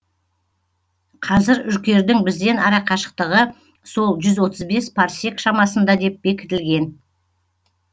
қазір үркердің бізден арақашықтығы сол жүз отыз бес парсек шамасында деп бекітілген